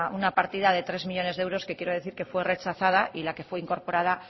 una partida de tres millónes de euros que quiero decir que fue rechazada y la que fueincorporada